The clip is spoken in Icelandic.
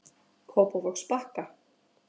Kópavogsbakka